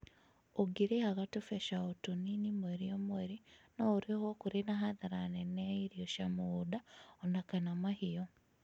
ũngîrǐhaga tũbeca otũnini mweri O mweri no ũrihẃo kũrĩ na hathara nene ya ĩrĩo cĩa mũgũnda ona kana mahiũ.